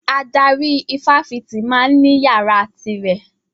Adarí ifáfitì ma ń ní yàrá ti rẹ̀